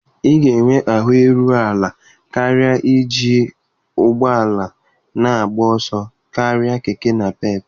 Ị ga-enwe ahụ iru ala karịa iji ụgbọ ala na-agba ọsọ karịa Keke Napep.